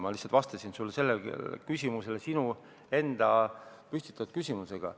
Ma lihtsalt vastasin sinu enda küsimusele.